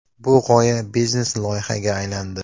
Bu g‘oya biznes-loyihaga aylandi”.